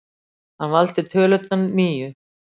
Hann valdi tölurnar níu.